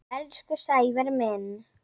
Elsku Sævar minn.